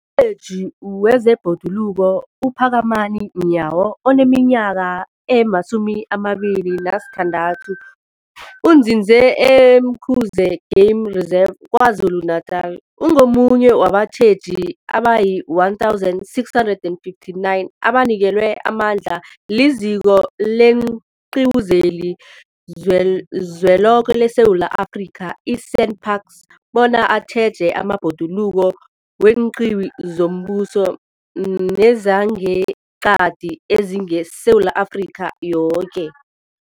Umtjheji wezeBhoduluko uPhakamani Nyawo oneminyaka ema-26, onzinze e-Umkhuze Game Reserve KwaZulu-Natala, ungomunye wabatjheji abayi-1 659 abanikelwe amandla liZiko leenQiwu zeliZweloke leSewula Afrika, i-SANParks, bona batjheje amabhoduluko weenqiwu zombuso nezangeqadi ezingeSewula Afrika yoke.